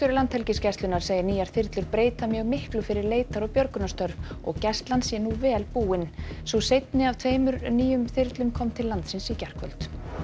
Landhelgisgæslunnar segir nýjar þyrlur breyta mjög miklu fyrir leitar og björgunarstörf og Gæslan sé nú vel búin sú seinni af tveimur nýjum þyrlum kom til landsins í gærkvöldi